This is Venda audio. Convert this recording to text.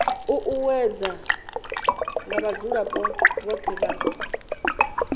ṱuṱuwedzwa nga vhadzulapo vhothe vha